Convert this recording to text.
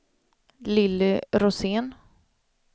Lilly Rosén